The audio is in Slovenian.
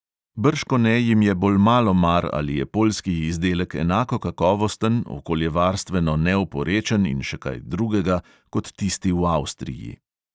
Bržkone jim je bolj malo mar, ali je poljski izdelek enako kakovosten, okoljevarstveno neoporečen in še kaj drugega kot tisti v avstriji.